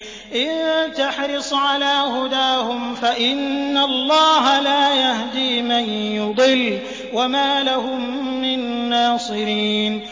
إِن تَحْرِصْ عَلَىٰ هُدَاهُمْ فَإِنَّ اللَّهَ لَا يَهْدِي مَن يُضِلُّ ۖ وَمَا لَهُم مِّن نَّاصِرِينَ